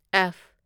F